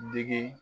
Digi